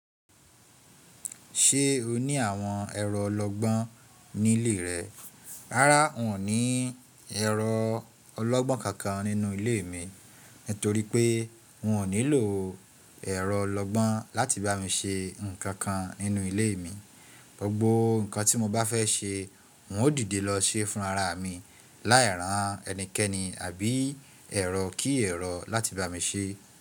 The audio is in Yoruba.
Ṣé o ní àwọn ẹ̀rọ ọlọ́gbọ́n ní ilé rẹ? Rárá, n ò ní ẹ̀rọ ọlọ́gbọ́n kankan nínú ilé mi, nítorí pé n ò nílò ẹ̀rọ ọlọ́gbọ́n láti bá mi se ǹkan kan nínú ilé mi. Gbogbo ǹkan tí mo bá fẹ́ ṣe, n ó dìde lọ ṣe fún ara mi, láì ràn ẹnikẹ́ni àbí ẹ̀rọ kí ẹ̀rọ láti bá mi ṣe.